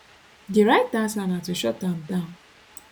di right answer na to shut am down